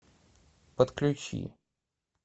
подключи